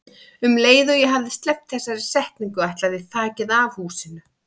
Um leið og ég hafði sleppt þessari setningu ætlaði þakið af húsinu.